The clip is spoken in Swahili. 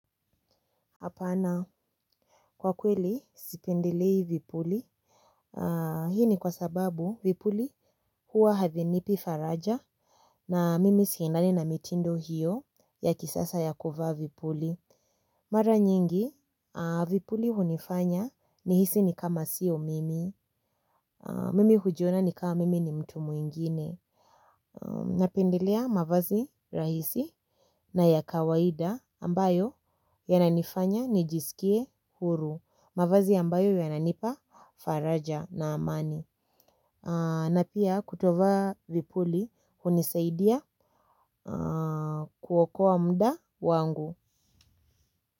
Hapana, kwa kweli sipendelei vipuli. Hii ni kwa sababu vipuli huwa havinipi faraja na mimi siendani na mitindo hiyo ya kisasa ya kuvaa vipuli. Mara nyingi vipuli hunifanya nihisi ni kama sio mimi. Mimi hujiona ni kama mimi ni mtu mwingine. Napendelea mavazi rahisi na ya kawaida ambayo yananifanya nijisikie huru. Mavazi ambayo yananipa faraja na amani na pia kutovaa vipuli hunisaidia kuokoa muda wangu.